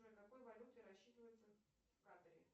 джой какой валютой рассчитываются в катаре